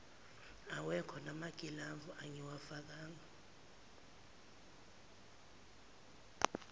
awekho namagilavu engingawafaka